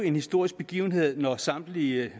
en historisk begivenhed når samtlige